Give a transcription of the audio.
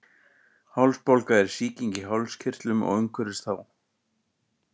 Hálsbólga er sýking í hálskirtlum og umhverfis þá.